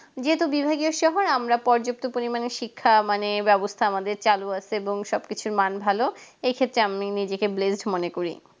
যেহেতু বিভাগীয় সব হয় আমরা পর্যাপ্ত পরিমাণের শিক্ষা মানে ব্যবস্থা আমাদের চালু আছে এবং সবকিছুর মান ভালো এক্ষেত্রে আমি নিজেকে blesed মনে করি